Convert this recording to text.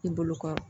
I bolo kɔrɔ